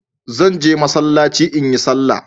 Zan je Masallaci in yi salah.